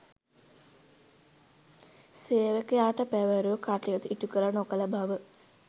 සේවකයාට පැවරූ කටයුතු ඉටුකළ නොකළ බව